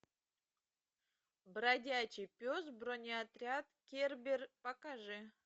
бродячий пес бронеотряд кербер покажи